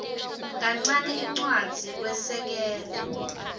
kancane incwadzi kwesekela